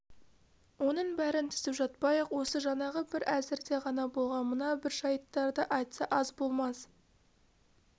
оның бәрін тізіп жатпай-ақ осы жаңағы бір әзірде ғана болған мына бір жайттарды айтса аз болмас